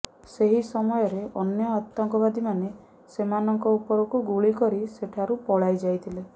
ସେହି ସମୟରେ ଅନ୍ୟ ଆତଙ୍କବାଦୀମାନେ ସେମାନଙ୍କ ଉପରକୁ ଗୁଳି କରି ସେଠାରୁ ପଳାଇ ଯାଇଥିଲେ